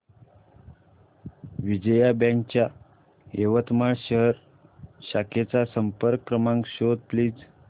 Vijaya bank च्या यवतमाळ शहर शाखेचा संपर्क क्रमांक शोध प्लीज